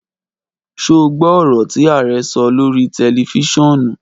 Ṣo gbọ ọ̀rọ̀ tí Arẹ sọ lórí tẹlifiṣionu?